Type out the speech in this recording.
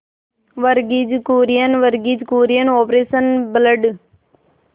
Verghese Kurien Verghese Kurien operation blood